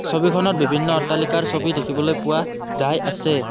ছবিখনত বিভিন্ন অট্টালিকাৰ ছবি দেখিবলৈ পোৱা যায় আছে।